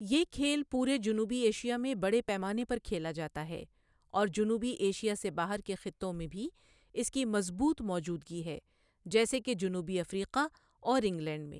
یہ کھیل پورے جنوبی ایشیا میں بڑے پیمانے پر کھیلا جاتا ہے، اور جنوبی ایشیا سے باہر کے خطوں میں بھی اس کی مضبوط موجودگی ہے، جیسے کہ جنوبی افریقہ اور انگلینڈ میں۔